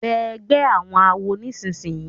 Bẹẹ ègbé àwọn àwo nísìsiyìí!